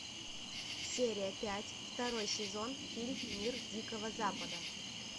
серия пять второй сезон фильм мир дикого запада